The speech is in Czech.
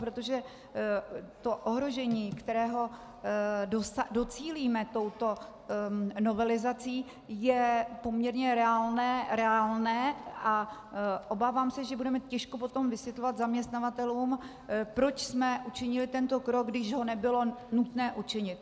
Protože to ohrožení, kterého docílíme touto novelizací, je poměrně reálné a obávám se, že budeme těžko potom vysvětlovat zaměstnavatelům, proč jsme učinili tento krok, když ho nebylo nutné učinit.